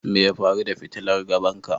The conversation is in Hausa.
Me ya faru da fitilar gaban ka?